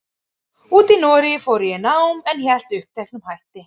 úti í Noregi fór ég í nám, en hélt uppteknum hætti.